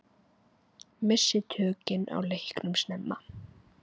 Misstu tökin á leiknum snemma.